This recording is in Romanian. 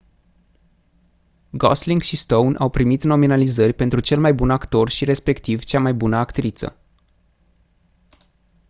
gosling și stone au primit nominalizări pentru cel mai bun actor și respectiv cea mai bună actriță